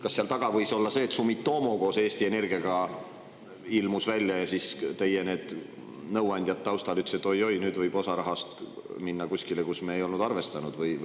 Kas seal taga võis olla see, et Sumitomo koos Eesti Energiaga ilmus välja ja siis teie nõuandjad taustal ütlesid, et oi-oi, nüüd võib osa rahast minna kuskile, kuhu me ei olnud arvestanud?